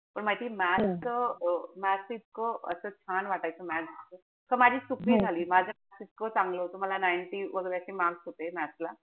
पण माहितीये maths च maths इतकं असं छान वाटायचं maths. त माझी चूक हि झाली. माझं maths इतकं चांगलं होत. मला ninety वगरे असे mark होते maths ला.